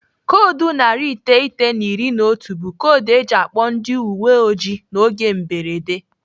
Koodu narị iteghete na iri na otu bụ koodu eji akpọ ndị uwe ojii n'oge mberede.